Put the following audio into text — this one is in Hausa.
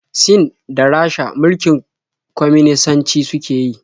Sin da Rasha mulkin kwaminisanci suke yi.